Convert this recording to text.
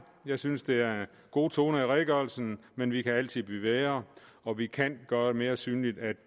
jeg synes der er gode toner i redegørelsen men vi kan altid blive bedre og vi kan gøre det mere synligt at